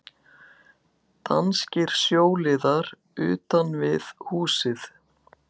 Danskir sjóliðar utan við húsið.